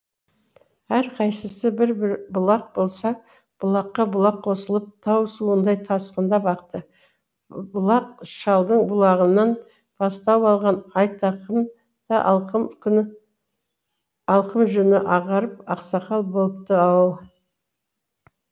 әрқайсысы бір бір бұлақ болса бұлаққа бұлақ қосылып тау суындай тасқындап ақты бұлғақ шалдың бұлағынан бастау алған айтақын да алқым жүні ағарып ақсақал болыпты ау